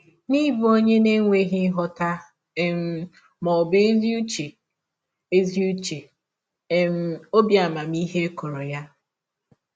N’ịbụ ọnye na - enweghị nghọta um ma ọ bụ ezi ụche ezi ụche um, ọbi amamihe kọrọ ya.